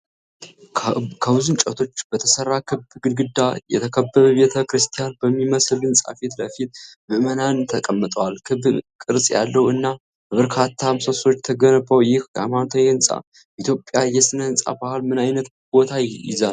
ከብዙ እንጨቶች በተሰራ ክብ ግድግዳ የተከበበ ቤተ ክርስቲያን በሚመስል ሕንፃ ፊት ለፊት ምዕመናን ተቀምጠዋል። ክብ ቅርፅ ያለው እና በበርካታ ምሰሶዎች የተገነባው ይህ ሃይማኖታዊ ሕንፃ በኢትዮጵያ የስነ-ህንፃ ባህል ምን ዓይነት ቦታ ይይዛል?